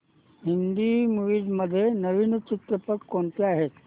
Hindi movies मध्ये नवीन चित्रपट कोणते आहेत